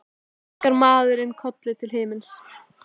Og svo kinkar maður kolli til himins.